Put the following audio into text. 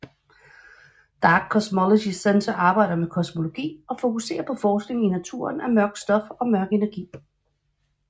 Dark Cosmology Centre arbejder med kosmologi og fokuserer på forskning i naturen af mørkt stof og mørk energi